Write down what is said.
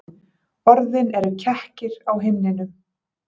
Orðin eru kekkir á himninum.